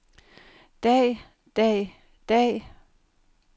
dag dag dag